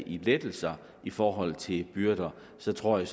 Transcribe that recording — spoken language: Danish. i lettelser i forhold til byrder så tror jeg